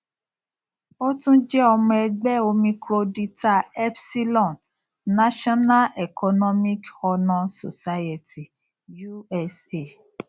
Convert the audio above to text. ó tún jẹ ọmọ ẹgbẹ omicro dlta epsilon national economics honour society usa